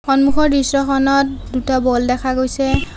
সন্মুখৰ দৃশ্যখনত দুটা বল দেখা গৈছে।